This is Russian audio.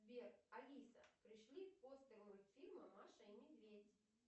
сбер алиса пришли постер мультфильма маша и медведь